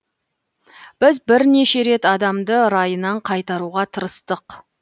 біз бірнеше рет адамды райынан қайтаруға тырыстық